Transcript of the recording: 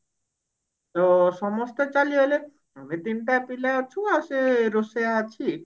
ଓ ସମସ୍ତେ ଚାଲି ଗଲେ ଆମେ ତିନିଟା ପିଲା ଅଛୁ ଆଉ ସେ ରୋଷେଇୟା ଅଛି